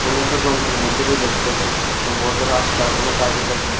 কোনো একটা যন্ত্রের মদ্যে দিয়া দেকতেছে সম্ভবত রাস্তার কোনো কাজ হইতাছে।